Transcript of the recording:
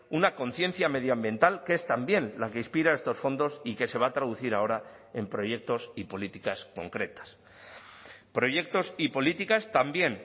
una conciencia medioambiental que es también la que inspira estos fondos y que se va a traducir ahora en proyectos y políticas concretas proyectos y políticas también